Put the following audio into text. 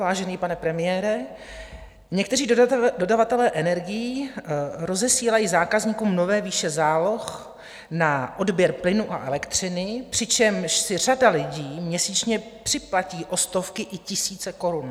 Vážený pane premiére, někteří dodavatelé energií rozesílají zákazníkům nové výše záloh na odběr plynu a elektřiny, přičemž si řada lidí měsíčně připlatí o stovky i tisíce korun.